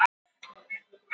Jakob